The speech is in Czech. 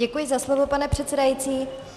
Děkuji za slovo, pane předsedající.